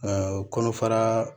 kɔnɔfara